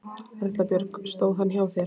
Erla Björg: Stóð hann hjá þér?